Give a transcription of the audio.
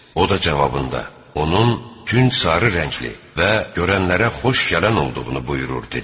O da cavabında: "Onun künc sarı rəngli və görənlərə xoş gələn olduğunu buyurur" dedi.